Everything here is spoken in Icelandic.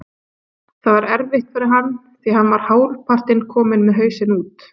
Það er erfitt fyrir hann því hann var hálfpartinn kominn með hausinn út.